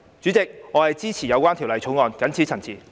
主席，我謹此陳辭，支持《條例草案》。